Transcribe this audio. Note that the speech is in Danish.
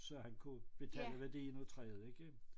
Så han kunne betale værdien af træet ikke